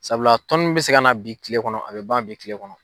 Sabula tɔnni bɛ se ka na bi kile kɔnɔ a bɛ ban bi kile kɔnɔ.